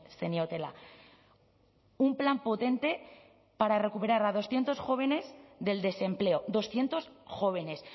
zeniotela un plan potente para recuperar a doscientos jóvenes del desempleo doscientos jóvenes